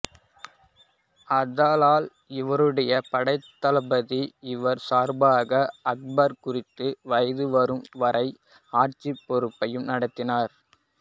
ஆதலால் இவருடைய படைத்தளபதி இவர் சார்பாக அக்பர் குறித்த வயது வரும் வரை ஆட்சி பொறுப்பை நடத்தினார்